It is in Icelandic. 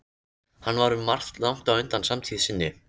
Hann var um margt langt á undan samtíð sinni.